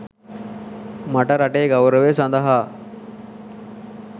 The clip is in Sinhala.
මට රටේ ගෞරවය සඳහා